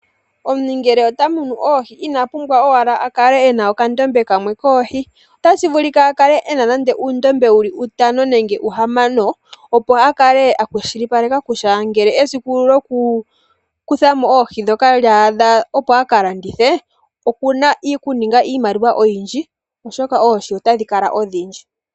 Omuntu ngele otamunu oohi inapumbwa owala akale ena okandombe kamwe koohi. Otashivulika akale ena nande uundombe uli nande utano nenge uhamano opo akale akwashilipaleka kutya ngele esiku lyoku kuthamo oohi ndhoka lya adha opo akalandithe okuna okuninga iimaliwa oyindji oshoka oohi otadhi kala odhindji.